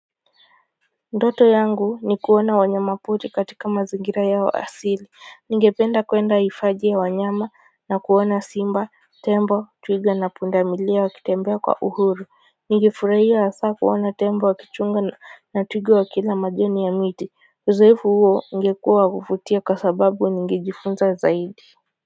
Ndoto yangu ni kuona wanyama pori katika mazingira yao asili ningependa kwenda hifadhi ya wanyama na kuona simba tembo twiga na pundamilia wakitembea kwa uhuru ningefurahia hasa kuona tembo wakichunga na twiga wa kila majani ya miti uzoefu huo ungekuwa wa kuvutia kwa sababu ningejifunza zaidi.